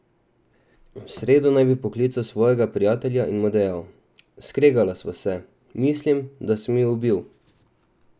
V sredo naj bi poklical svojega prijatelja in mu dejal: "Skregala sva se, mislim, da sem jo ubil.